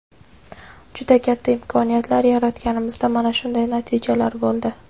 juda katta imkoniyatlar yaratganimizda mana shunday natijalar bo‘ldi.